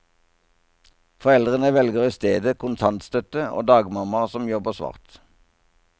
Foreldre velger i stedet kontantstøtte og dagmammaer som jobber svart.